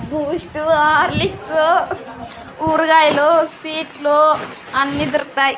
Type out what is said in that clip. Boost Horlicks కూరగాయలు స్వీట్లు అన్నీ దొరుకుతాయి.